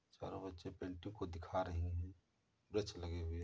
चारो बच्चे पेंटिंग को दिखा रहे हैं। वृक्ष लगे हुए हैं।